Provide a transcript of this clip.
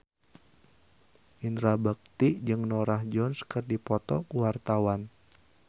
Indra Bekti jeung Norah Jones keur dipoto ku wartawan